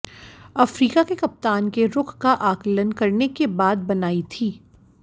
Africa के कप्तान के रुख का आकलन करने के बाद बनाई थी